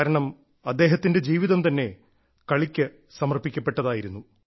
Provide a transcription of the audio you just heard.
കാരണം അദ്ദേഹത്തിന്റെ ജീവിതം തന്നെ കളിക്ക് സമർപ്പിക്കപ്പെട്ടതായിരുന്നു